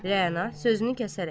Rəana sözünü kəsərək.